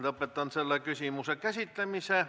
Lõpetan selle küsimuse käsitlemise.